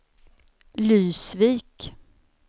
Lysvik